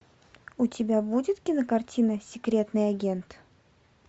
у тебя будет кинокартина секретный агент